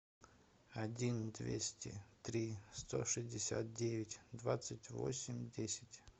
один двести три сто шестьдесят девять двадцать восемь десять